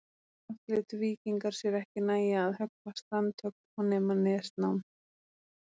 Brátt létu víkingar sér ekki nægja að höggva strandhögg og nema nesnám.